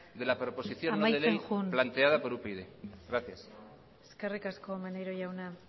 de la proposición no de ley planteada por upyd amaitzen joan gracias eskerrik asko maneiro jauna